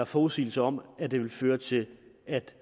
forudsigelser om at det vil føre til at